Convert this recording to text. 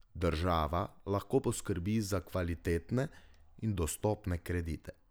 Država lahko poskrbi za kvalitetne in dostopne kredite.